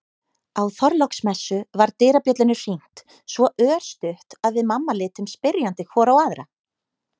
Á Þorláksmessu var dyrabjöllunni hringt svo örstutt að við mamma litum spyrjandi hvor á aðra.